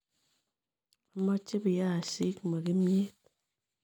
Ameche biyaasiik , ma kimyeet